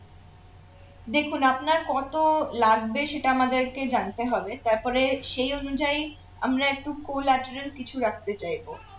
দেখুন আপনার কত লাগবে সেটা আমাদেরকে জানতে হবে তারপরে সেই অনুযায়ী আমরা একটু collateral কিছু রাখতে চাইবো